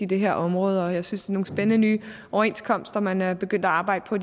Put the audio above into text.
det her område og jeg synes nogle spændende nye overenskomster man er begyndt at arbejde på